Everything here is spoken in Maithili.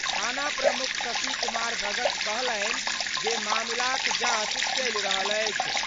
थाना प्रमुख शशि कुमार भगत कहलनि जे, मामलाक जांच चलि रहल अछि।